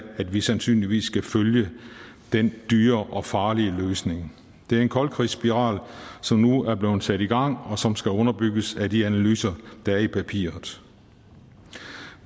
at vi sandsynligvis skal følge den dyre og farlige løsning det er en koldkrigsspiral som nu er blevet sat i gang og som skal underbygges af de analyser der er i papiret